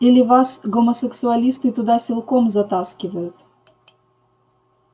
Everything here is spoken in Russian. или вас гомосексуалисты туда силком затаскивают